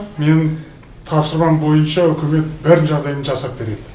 менің тапсырмам бойынша үкімет бәрін жағдайын жасап береді